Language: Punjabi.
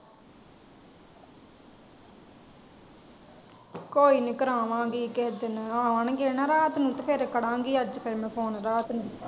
ਕੋਯੀਨੀ ਕਰਾਵਾਂਗੀ ਕਿਹੇ ਦਿਨ ਆਉਣਗੇ ਨਾ ਰਾਤ ਨੂੰ ਫੇਰ ਕਰਾਂਗੀ ਅਜੱਜ ਮੈਂ phone ਰਾਤ ਨੂੰ।